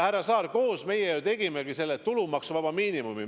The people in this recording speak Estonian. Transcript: Härra Saar, koos me ju kehtestasimegi tulumaksuvaba miinimumi.